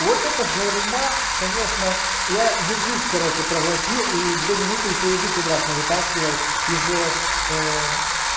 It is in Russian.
вот это журма конечно я язык короче проглотил и две минуты ещё язык и обратно вытаскивал из